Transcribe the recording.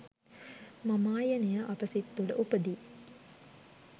මමායනය අප සිත් තුළ උපදී.